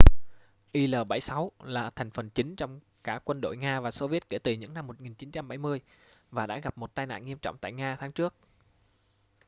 il-76 là hành phần chính trong cả quân đội nga và xô viết kể từ những năm 1970 và đã gặp một tai nạn nghiêm trọng tại nga tháng trước